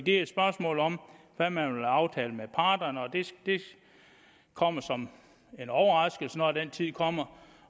er et spørgsmål om hvad man vil aftale med parterne og det kommer som en overraskelse når den tid kommer